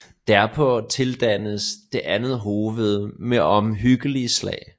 Derpå tildannes det andet hoved med omhyggelige slag